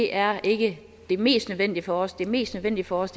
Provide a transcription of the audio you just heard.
er ikke det mest nødvendige for os det mest nødvendige for os